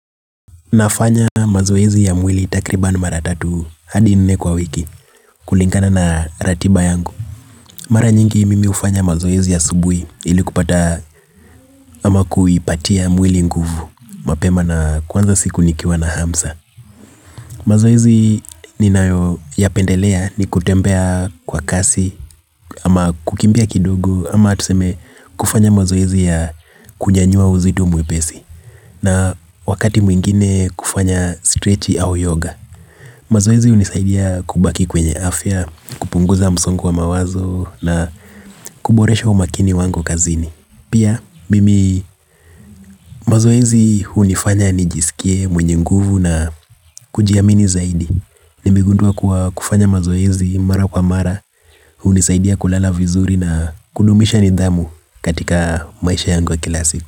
Nafanya mazoezi ya mwili takriban mara tatu hadi nne kwa wiki kulingana na ratiba yangu. Mara nyingi mimi hufanya mazoezi asubui ili kupata ama kuipatia mwili nguvu mapema na kuanza siku nikiwa na hamsa. Mazoezi ninayo yapendelea ni kutembea kwa kasi ama kukimbia kidogo ama tuseme kufanya mazoezi ya kunyanyua uzito mwepesi na wakati mwingine kufanya strechi au yoga. Mazoezi unisaidia kubaki kwenye afya, kupunguza msongo wa mawazo na kuboresha umakini wangu kazini. Pia, mimi mazoezi hunifanya nijisikie mwenye nguvu na kujiamini zaidi. Nimegundua kuwa kufanya mazoezi mara kwa mara hunisaidia kulala vizuri na kudumisha nidhamu katika maisha yangu ya kila siku.